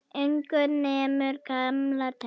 Ungur nemur, gamall temur.